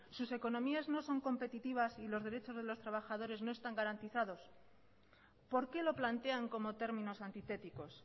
sus economías no son competitivas y los derechos de los trabajadores no están garantizados por qué lo plantean como términos antitéticos